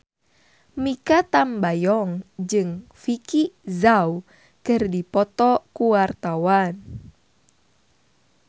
Mikha Tambayong jeung Vicki Zao keur dipoto ku wartawan